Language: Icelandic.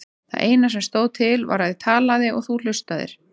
Það eina sem stóð til var að ég talaði og þú hlustaðir.